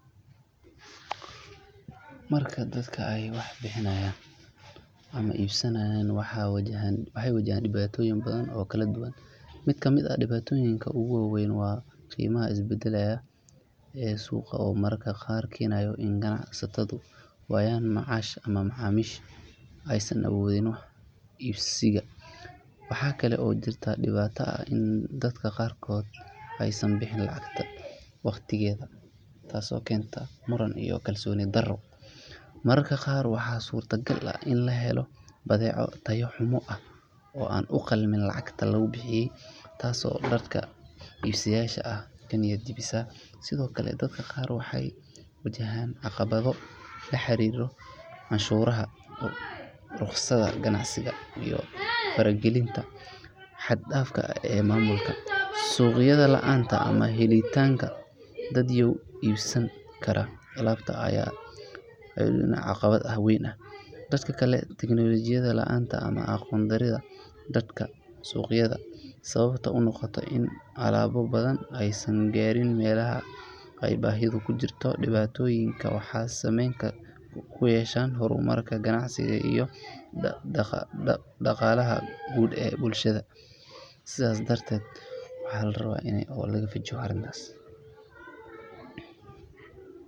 Marka dadka ay wax iibinayaan ama iibsadaan, waxay wajahaan dhibaatooyin badan oo kala duwan. Mid ka mid ah dhibaatooyinka ugu waaweyn waa qiimaha isbedbedelaya ee suuqa oo mararka qaar keenaya in ganacsatadu waayaan macaash ama macaamiishu aysan awoodin wax iibsiga. Waxaa kale oo jirta dhibaato ah in dad qaarkood aysan bixin lacagta waqtigeeda, taasoo keenta muran iyo kalsooni darro. Mararka qaar waxaa suurtagal ah in la helo badeeco tayo xumo ah oo aan u qalmin lacagta lagu bixiyay, taasoo dadka iibsadayaasha ah ka niyad jebisa. Sidoo kale, dadka qaar waxay wajahaan caqabado la xiriira canshuuraha, rukhsadaha ganacsiga, iyo faragelinta xad dhaafka ah ee maamulka. Suuqyada la’aanta ama helitaanka dadyow iibsan kara alaabta ayaa iyaduna ah caqabad weyn. Dhanka kale, teknoolajiyad la’aanta ama aqoon darrida dhanka suuqgeynta ayaa sabab u noqota in alaabo badan aysan gaarin meelaha ay baahidu ka jirto. Dhibaatooyinkan waxay saameyn ku yeeshaan horumarka ganacsiga iyo dhaqaalaha guud ee bulshada.